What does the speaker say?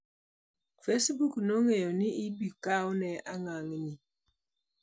Facebook nong'eyo ni ibokawne angangni.